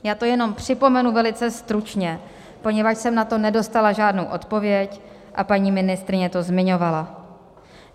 Já to jenom připomenu velice stručně, poněvadž jsem na to nedostala žádnou odpověď a paní ministryně to zmiňovala.